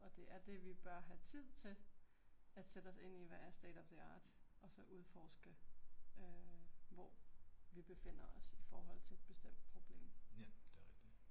Og det er det vi bør have tid til at sætte os ind i hvad er state of the art og så udforske øh hvor, vi befinder os i forhold til et bestemt problem